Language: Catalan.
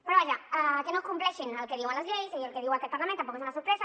però vaja que no compleixin el que diuen les lleis i el que diu aquest parlament tampoc és una sorpresa